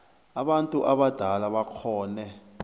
abantu abadala bakghone